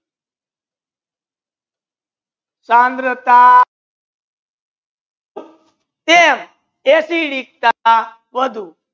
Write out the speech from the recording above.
સાંદ્રતા એસિડિક વધુ